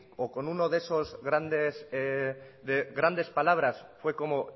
o con uno de esas grandes palabras fue como